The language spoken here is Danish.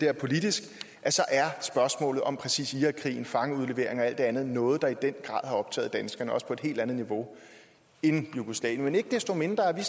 er politisk så er spørgsmålet om præcis irakkrigen fangeudlevering og alt det andet noget der i den grad har optaget danskerne også på et helt andet niveau end jugoslavien men ikke desto mindre er vi